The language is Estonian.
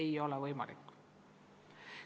Ei ole võimalik.